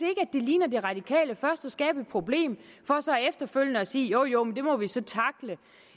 det ligner de radikale først at skabe et problem for så efterfølgende at sige jo jo men det må vi så tackle